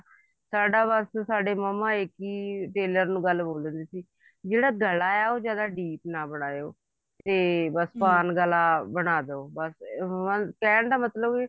ਸਾਡਾ ਬੱਸ ਸਾਡੇ ਮੰਮਾ ਇੱਕ ਹੀ tailor ਨੂੰ ਇੱਕ ਹੀ ਗੱਲ ਬੋਲਦੇ ਸੀ ਜਿਹੜਾ ਗਲਾ ਉਹ ਜਿਆਦਾ deep ਨਾ ਬਣਾਓ ਤੇ ਬੱਸ ਪਾਨ ਗਲਾ ਬਣਾ ਦੋ ਉਹਨਾ ਦੇ ਕਹਿਣ ਦਾ ਮਤਲਬ ਕੀ